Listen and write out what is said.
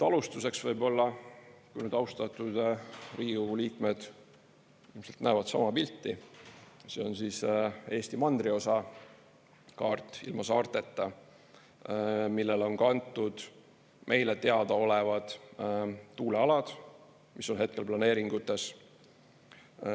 Alustuseks võib-olla, austatud Riigikogu liikmed ilmselt näevad sama pilti: see on Eesti mandriosa kaart ilma saarteta, millele on kantud meile teadaolevad tuulealad, mis on hetkel planeeringutes.